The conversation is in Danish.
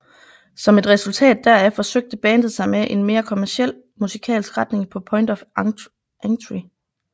Som et resultat deraf forsøgte bandet sig med en mere kommerciel musikalsk retning på Point of Entry